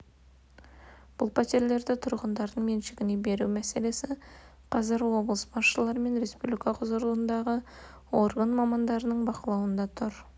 бұл пәтерлерді тұрғындардың меншігіне беру мәселесі қазір облыс басшылары мен республикадағы құзырлы орган мамандарының бақылауында тұр